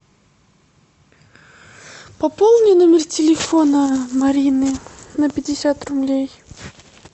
пополни номер телефона марины на пятьдесят рублей